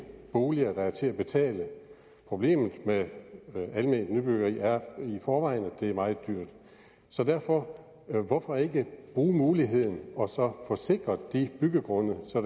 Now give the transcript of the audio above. boliger der er til at betale problemet med alment nybyggeri er i forvejen at det er meget dyrt så derfor hvorfor ikke bruge muligheden og så få sikret de byggegrunde så